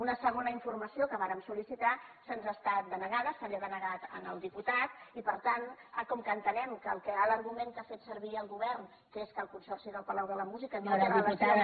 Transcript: una segona informació que vàrem sol·licitar ens ha estat denegada se li ha denegat al diputat i per tant com que entenem que l’argument que ha fet servir el govern que és que el consorci del palau de la música no té relació amb la generalitat